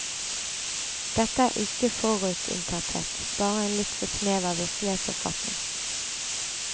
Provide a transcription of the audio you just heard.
Dette er ikke forutinntatthet, bare en litt for snever virkelighetsoppfatning.